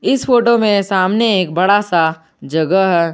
इस फोटो में सामने एक बड़ा सा जगह है।